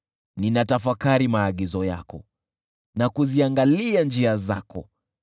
Ninatafakari maagizo yako na kuziangalia njia zako.